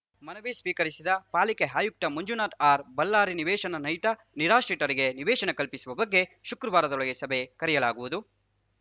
ಮನವಿ ಸ್ವೀಕರಿಸಿದ ಪಾಲಿಕೆ ಆಯುಕ್ತ ಮಂಜುನಾಥ ಆರ್‌ಬಳ್ಳಾರಿ ನಿವೇಶನ ರಹಿತ ನಿರಾಶ್ರಿತರಿಗೆ ನಿವೇಶನ ಕಲ್ಪಿಸುವ ಬಗ್ಗೆ ಶುಕ್ರವಾರದೊಳಗೆ ಸಭೆ ಕರೆಯಲಾಗುವುದು